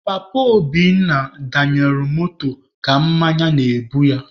Papa Obinna danyelụ moto ka mmanya na-egbu ya.